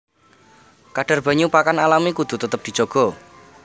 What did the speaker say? Kadhar banyu pakan alami kudu tetep dijaga